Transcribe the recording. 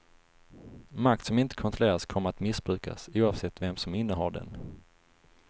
Makt som inte kontrolleras kommer att missbrukas, oavsett vem som innehar den.